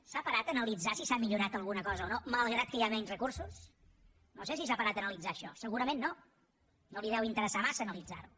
s’ha parat a analitzar si s’ha millorat alguna cosa o no malgrat que hi ha menys recursos no sé si s’ha parat a analitzar això segurament no no li deu interessar massa analitzar ho